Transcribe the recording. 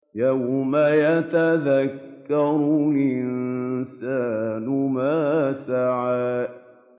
يَوْمَ يَتَذَكَّرُ الْإِنسَانُ مَا سَعَىٰ